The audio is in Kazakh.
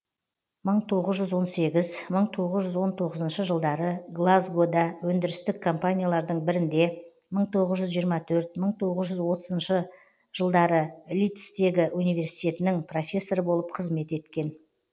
мың тоғыз жүз он сегіз мың тоғыз жүз он тоғызыншы жылдары глазгода өндірістік компаниялардың бірінде мың тоғыз жүз жиырма төрт мың тоғыз жүз отызыншы жылдары лидстегі университетінің профессоры болып қызмет еткен